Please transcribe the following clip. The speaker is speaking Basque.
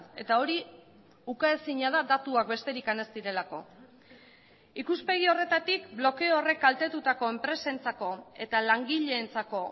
eta hori ukaezina da datuak besterik ez direlako ikuspegi horretatik blokeo horrek kaltetutako enpresentzako eta langileentzako